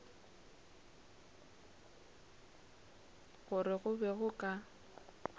gore go be go ka